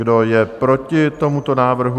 Kdo je proti tomuto návrhu?